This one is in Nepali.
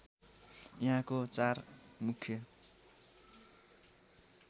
यहाँको चार मुख्य